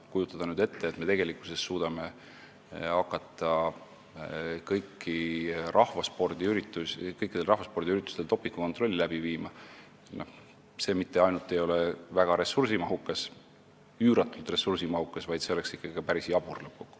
Kui nüüd ette kujutada, et me hakkaksime kõikidel rahvaspordiüritustel dopingukontrolli läbi viima, siis see ei oleks mitte ainult üüratult ressursimahukas, vaid oleks lõppkokkuvõttes ka päris jabur.